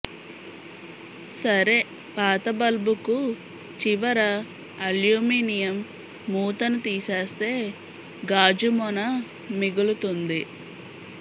సరే పాత బల్బుకు చివర అల్యూమి నియం మూతను తీసేస్తే గాజు మొన మిగులు తుంది